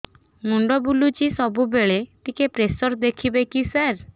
ମୁଣ୍ଡ ବୁଲୁଚି ସବୁବେଳେ ଟିକେ ପ୍ରେସର ଦେଖିବେ କି ସାର